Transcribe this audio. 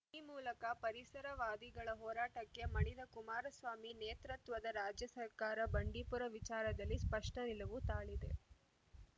ಈ ಮೂಲಕ ಪರಿಸರವಾದಿಗಳ ಹೋರಾಟಕ್ಕೆ ಮಣಿದ ಕುಮಾರಸ್ವಾಮಿ ನೇತ್ರತ್ವದ ರಾಜ್ಯಸರ್ಕಾರ ಬಂಡೀಪುರ ವಿಚಾರದಲ್ಲಿ ಸ್ಪಷ್ಟನಿಲುವು ತಾಳಿದೆ